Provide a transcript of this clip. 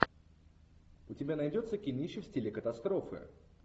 у тебя найдется кинище в стиле катастрофы